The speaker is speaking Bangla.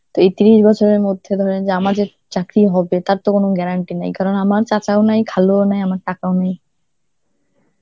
তো এই তিরিশ বছরের মধ্যে ধরেন যে আমার যে চাকরি হবে, তার তো কোনো guarantee নাই, কারন আমার চাচাও নেই, খালুও নেই, আমার তাকাও নেই.